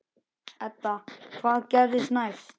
Edda: Hvað gerist næst?